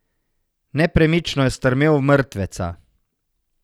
Nepremično je strmel v mrtveca.